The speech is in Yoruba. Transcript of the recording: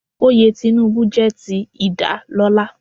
Oyè Tinubu jẹ́ ti ìdálọ́lá.